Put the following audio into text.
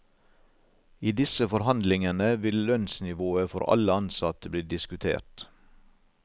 I disse forhandlingene vil lønnsnivået for alle ansatte bli diskutert.